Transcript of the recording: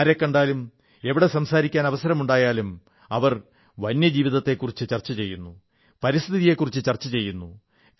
ആരെക്കണ്ടാലും എവിടെ സംസാരിക്കാൻ അവസരമുണ്ടായാലും അവർ വന്യജീവിതത്തെക്കുറിച്ചു ചർച്ച ചെയ്യുന്നു പരിസ്ഥിതിയെക്കുറിച്ചു ചർച്ച ചെയ്യുന്നു